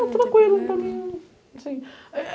Não, tranquilo, para mim, assim